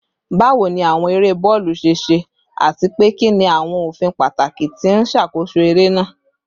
Bawo ni awọn ere bọọlu ṣe ṣe, ati pe kini awọn ofin pataki ti n ṣakoso ere naa?